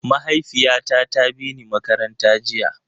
Mahaifiyata ta bini makaranta jiya.